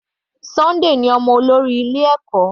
Sunday ní ọmọ olórí ilé ẹ̀kọ́.